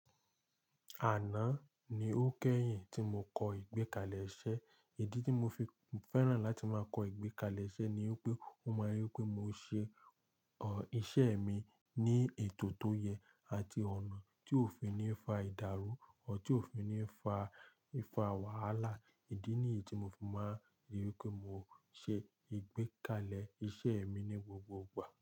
Àná ni ó kẹ́yìn tí mo kọ ìgbẹ́kalẹ̀ iṣẹ́. Ìdí tí mo fi fẹ́ràn láti máa kọ ìgbẹ́kalẹ̀ iṣẹ́ ni wípé, ó máa rí wípé mo ṣe iṣẹ́ mi ní ètò tó yẹ àti ọ̀nà tí òfin ní fa ìdàrú, or tí òfin ní fa, wàhálà. Ìdí níyì tí mo fi máa rí wípé mo ṣe ìgbẹ́kalẹ̀ iṣẹ́ mi ní gbogbo ìgbà.